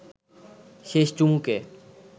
শেষ চুমুকে